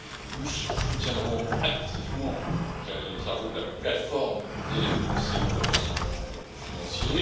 Nous soutiendrons activement les travaux de la plateforme des cellules de renseignement financier.